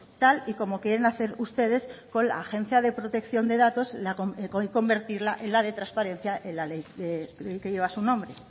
tal y como quieren hacer ustedes con la agencia de protección de datos y convertirla en la de transparencia en la ley que lleva su nombre